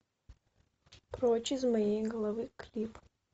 прочь из моей головы клип